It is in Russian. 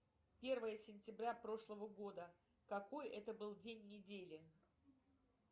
первое сентября прошлого года какой это был день недели